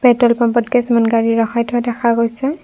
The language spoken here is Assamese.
পেট্ৰল পাম্পত কিছুমান গাড়ী ৰখাই থোৱা দেখা গৈছে।